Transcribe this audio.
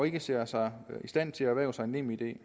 ikke ser sig i stand til at erhverve sig nemid jeg